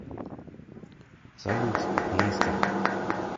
салют монстер